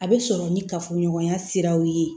A bɛ sɔrɔ ni kafoɲɔgɔnya siraw ye